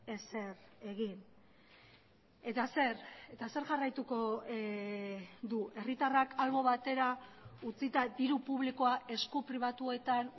ezer egin eta zer eta zer jarraituko du herritarrak albo batera utzita diru publikoa esku pribatuetan